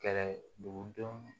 Kɛlɛ dugudenw